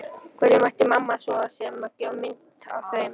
Hverjum ætti mamma svo sem að gefa mynd af þeim?